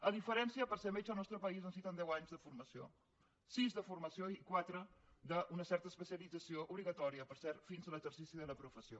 a diferència per ser metge al nostre país es necessiten deu anys de formació sis de formació i quatre d’una certa especialització obligatòria per cert fins a l’exercici de la professió